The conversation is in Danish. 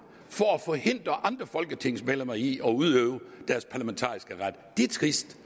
for at forhindre andre folketingsmedlemmer i at udøve deres parlamentariske ret det er trist